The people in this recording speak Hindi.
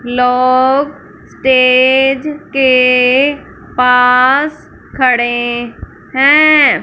लोग स्टेज के पास खड़े है।